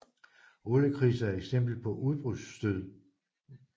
Oliekriser er et eksempel på udbudsstød